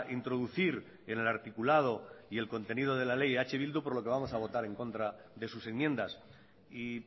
introducir en el articulado y el contenido de la ley eh bildu por lo que vamos a votar en contra de sus enmiendas y